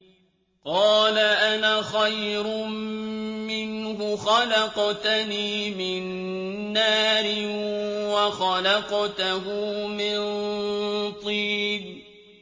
قَالَ أَنَا خَيْرٌ مِّنْهُ ۖ خَلَقْتَنِي مِن نَّارٍ وَخَلَقْتَهُ مِن طِينٍ